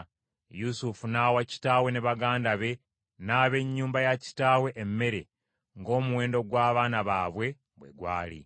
Yusufu n’awa kitaawe ne baganda be n’ab’ennyumba ya kitaawe emmere ng’omuwendo gw’abaana baabwe bwe gwali.